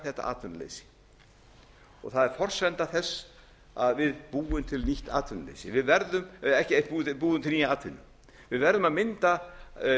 þetta atvinnuleysi það er forsenda þess að við búum til nýtt atvinnuleysi við verðum búum til nýja atvinnu við verðum að mynda